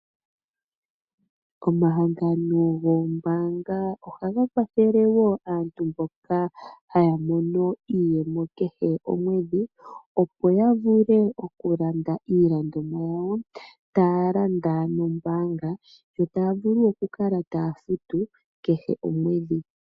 Omahangano goombaanga ohaga kwathele wo aantu mboka haya mono iiyemo kehe omwedhi opo ya vule okulanda iilandomwa yawo taya landa nombaanga yo taya vulu okukala taya futu kehe omwedhi.